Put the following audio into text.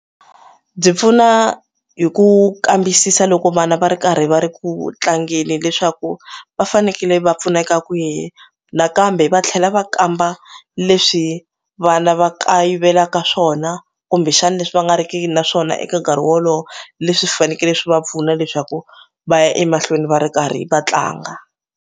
Byi pfuna hi ku kambisisa loko vana va ri karhi va ri ku tlangeni leswaku va fanekele va pfuneka kwihi nakambe va tlhela va kamba leswi vana va kayivelaka swona kumbexani leswi va nga ri ki naswona eka nkarhi wolowo leswi fanekele swi va pfuna leswaku va ya emahlweni va ri karhi va tlanga.